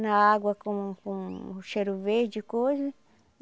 Na água com com cheiro verde e coisa.